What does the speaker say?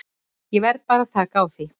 Ég verð bara að taka því.